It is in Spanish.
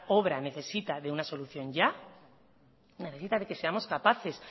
obra necesita de una solución ya necesita que seamos capaces